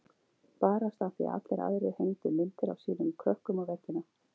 Barasta af því að allir aðrir hengdu myndir af sínum krökkum á veggina.